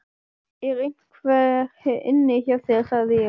ER EINHVER INNI HJÁ ÞÉR, SAGÐI ÉG?